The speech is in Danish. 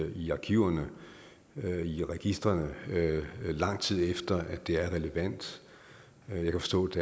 i arkiverne i registrene lang tid efter at det er at relevant jeg kan forstå at